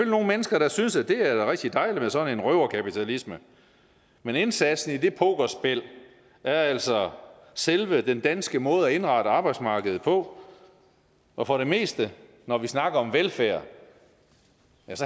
nogle mennesker der synes at det er rigtig dejligt med sådan en røverkapitalisme men indsatsen i det pokerspil er altså selve den danske måde at indrette arbejdsmarkedet på og for det meste når vi snakker om velfærd